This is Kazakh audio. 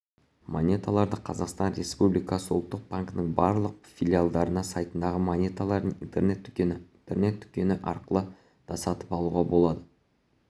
монеталарды қазақстан республикасы ұлттық банкінің барлық филиалдарында сайтындағы монеталардың интернет-дүкені интернет-дүкені арқылы да сатып алуға болады